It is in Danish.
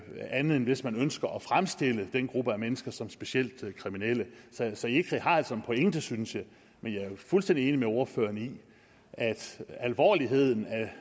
andet end hvis man ønsker at fremstille den gruppe af mennesker som specielt kriminelle så ecri har altså en pointe synes jeg men jeg er jo fuldstændig enig med ordføreren i at alvorligheden